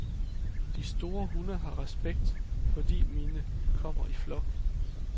De store hunde har respekt, fordi mine kommer i flok.